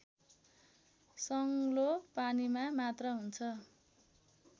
सङ्लो पानीमा मात्र हुन्छ